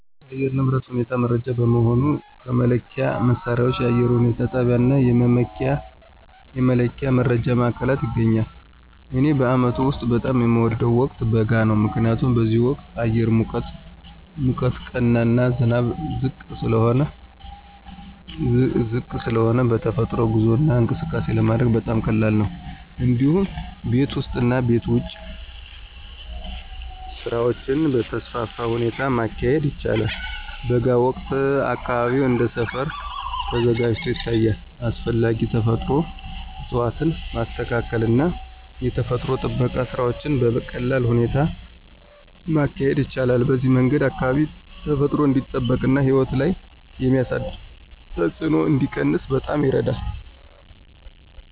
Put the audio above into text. የአየር ንብረት ሁኔታ መረጃ በመሆኑ ከመለኪያ መሣሪያዎች፣ የአየር ሁኔታ ጣቢያዎች እና ከመመኪያ መረጃ ማዕከላት ይገኛል። እኔ በአመቱ ውስጥ በጣም የሚወደው ወቅት በጋ ነው። ምክንያቱም በዚህ ወቅት አየር ሙቀት ቀና እና ዝናብ ዝቅ ስለሆነ በተፈጥሮ ጉዞ እና እንቅስቃሴ ለማድረግ በጣም ቀላል ነው። እንዲሁም ቤት ውስጥ እና ቤት ውጭ ስራዎችን በተስፋፋ ሁኔታ ማካሄድ ይቻላል። በጋ ወቅት አካባቢው እንደ ሰፈር ተዘጋጅቶ ይታያል፣ አስፈላጊ ተፈጥሮ እፅዋትን ማስተካከል እና የተፈጥሮ ጥበቃ ስራዎችን በቀላል ሁኔታ ማካሄድ ይቻላል። በዚህ መንገድ አካባቢ ተፈጥሮ እንዲጠበቅ እና ሕይወት ላይ የሚያሳደረው ተጽዕኖ እንዲቀነስ በጣም ይረዳል።